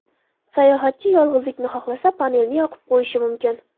Sayohatchi yolg‘izlikni xohlasa panelni yopib qo‘yishi mumkin.